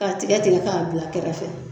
K'a tigɛ tigɛ k'a bila kɛrɛfɛ.